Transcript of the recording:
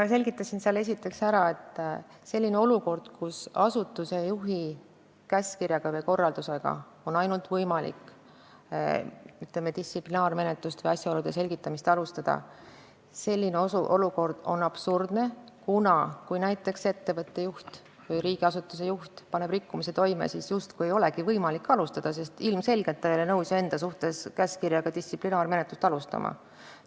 Ma selgitasin esiteks ära, et selline olukord, kus ainult asutuse juhi käskkirja või korraldusega on võimalik distsiplinaarmenetlust või rikkumise asjaolude selgitamist alustada, on absurdne, kuna kui näiteks ettevõtte või riigiasutuse juht paneb rikkumise toime, siis justkui ei olegi võimalik tema tegevuse suhtes menetlust alustada, sest ilmselgelt ei ole ta nõus ju enda suhtes distsiplinaarmenetluse alustamisega.